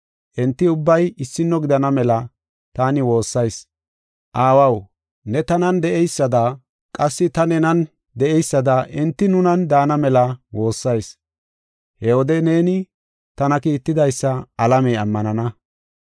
Enti ubbay issino gidana mela taani woossayis. Aawaw, ne tanan de7eysada, qassi ta nenan de7eysada enti nunan daana mela woossayis. He wode neeni tana kiittidaysa alamey ammanana.